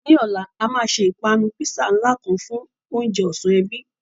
Ní ọ̀la, a máa ṣe ìpanu písà ńlá kan fún oúnjẹ ọ̀sán ẹbí.